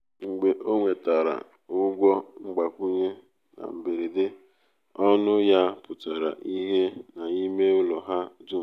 mgbe o nwetara ụgwọ mgbakwunye na mberede um ọṅụ ya pụtara ìhè n’ime ụlọ ha dum.